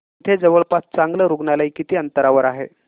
इथे जवळपास चांगलं रुग्णालय किती अंतरावर आहे